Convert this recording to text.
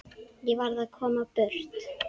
Ég varð að komast burt.